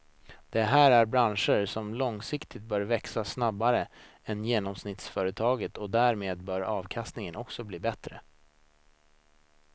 Det här är branscher som långsiktigt bör växa snabbare än genomsnittsföretaget och därmed bör avkastningen också bli bättre.